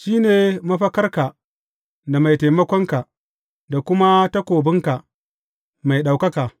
Shi ne mafakarka da mai taimakonka da kuma takobinka mai ɗaukaka.